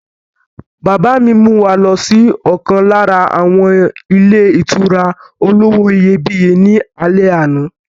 Bàbá mi mú wa lọ sí ọ̀kan lára àwọn ilé ìtura olówó iyebíye ní alẹ́ àná.